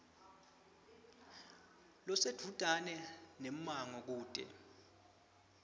losedvutane nemmango kute